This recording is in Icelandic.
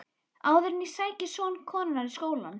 Áður en ég sæki son konunnar í skólann.